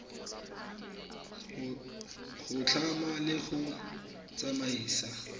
go tlhama le go tsamaisa